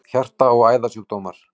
Hjarta- og æðasjúkdómar